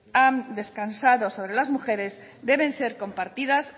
han descansado sobre las mujeres deben ser compartidas